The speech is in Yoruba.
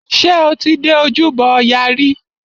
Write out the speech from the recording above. Ṣé o ti dé ojúbọ ọya rí?